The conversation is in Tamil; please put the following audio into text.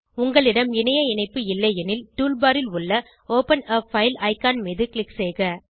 உங்களிடம் இணைய இணைப்பு இல்லையெனில் டூல் பார் ல் உள்ள ஒப்பன் ஆ பைல் ஐகான் மீது க்ளிக் செய்க